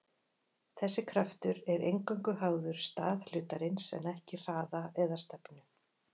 Þessi kraftur er eingöngu háður stað hlutarins en ekki hraða eða stefnu.